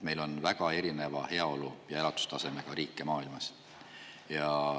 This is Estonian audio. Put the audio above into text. Meil on väga erineva heaolu ja elatustasemega riike maailmas.